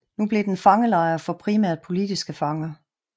Nu blev den fangelejr for primært politiske fanger